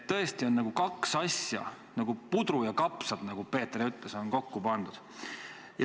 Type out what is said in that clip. Tõesti on kaks asja nagu puder ja kapsad, nagu Peeter ütles, kokku pandud.